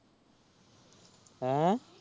ਹਾਂ